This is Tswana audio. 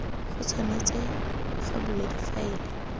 go tshwanetse ga bulwa difaele